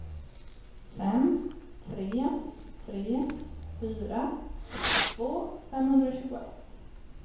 fem tre tre fyra sextiotvå femhundratjugoett